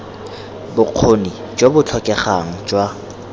bokgoni jo bo tlhokegang jwa